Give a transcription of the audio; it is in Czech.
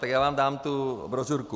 Tak já vám dám tu brožurku.